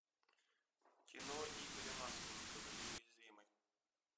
кино игоря масленникова неуязвимый